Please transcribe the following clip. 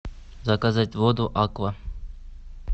заказать воду аква